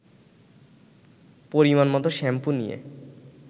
পরিমাণমতো শ্যাম্পু নিয়ে